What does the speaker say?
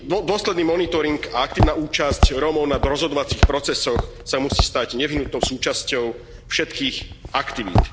Dôsledný monitoring a aktívna účasť Rómov na rozhodovacích procesoch sa musí stať nevyhnutnou súčasťou všetkých aktivít.